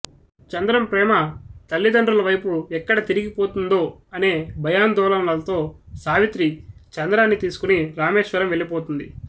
చంద్రం ప్రేమ తల్లిదండ్రులవైపు ఎక్కడ తిరిగిపోతుందో అనే భయాందోళనలతో సావిత్రి చంద్రాన్ని తీసుకుని రామేశ్వరం వెళ్ళిపోతుంది